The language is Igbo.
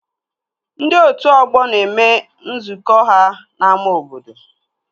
Ndị otu ọgbọ na-eme nzukọ ha n'ámá obodo